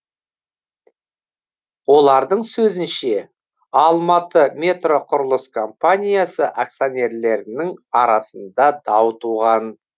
олардың сөзінше алматыметроқұрылыс компаниясы акционерлерінің арасында дау туған